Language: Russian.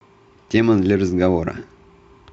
тема для разговора